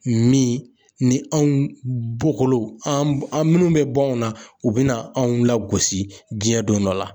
Min ni anw bokolow an b an minnu be bɔ anw na u bɛna anw lagosi diɲɛ don dɔ la